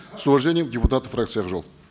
с уважением депутаты фракции ак жол